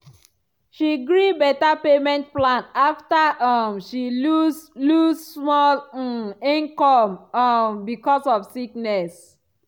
she gree better payment plan after um she lose lose small um income um because of sickness.